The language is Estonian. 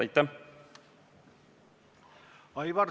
Aitäh!